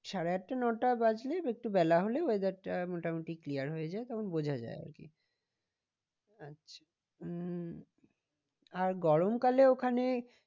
সাড়ে আটটা নটা বাজলে একটু বেলা হলে weather টা মোটামুটি clear হয়ে যায় তখন বোঝা যায় আর কি। আচ্ছা উম আর গরম কালে ওখানে